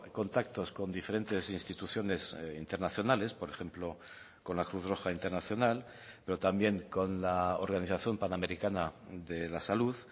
contactos con diferentes instituciones internacionales por ejemplo con la cruz roja internacional pero también con la organización panamericana de la salud